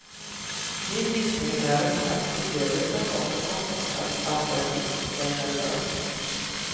Min gissning är att upplevelsen var så chockartad att den gjort dig nervös.